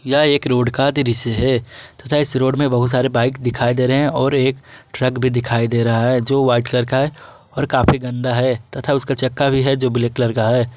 यह एक रोड का दृश्य है तथा इस रोड में बहुत सारे बाइक दिखाई दे रहे हैं और एक ट्रक भी दिखाई दे रहा है जो वाइट कलर है और काफी गंदा है तथा उसका चक्का भी है जो ब्लैक कलर का है।